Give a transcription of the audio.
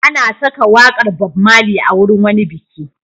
An saka waƙar Bob Marley a wurin wani biki.